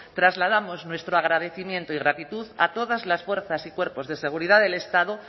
trasladamos nuestro agradecimiento y gratitud a todas las fuerzas y cuerpos de seguridad del estado